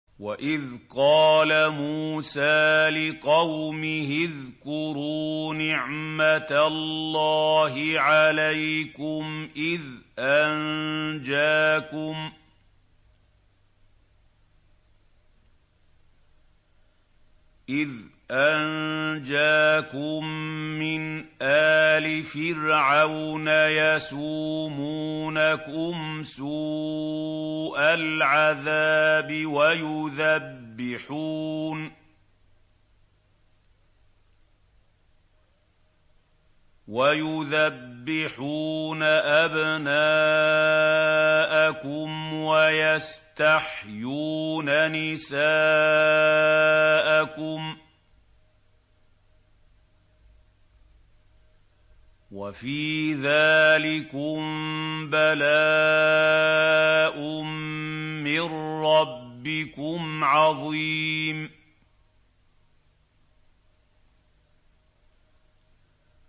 وَإِذْ قَالَ مُوسَىٰ لِقَوْمِهِ اذْكُرُوا نِعْمَةَ اللَّهِ عَلَيْكُمْ إِذْ أَنجَاكُم مِّنْ آلِ فِرْعَوْنَ يَسُومُونَكُمْ سُوءَ الْعَذَابِ وَيُذَبِّحُونَ أَبْنَاءَكُمْ وَيَسْتَحْيُونَ نِسَاءَكُمْ ۚ وَفِي ذَٰلِكُم بَلَاءٌ مِّن رَّبِّكُمْ عَظِيمٌ